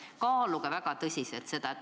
Kaaluge seda väga tõsiselt!